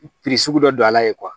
sugu dɔ don a la yen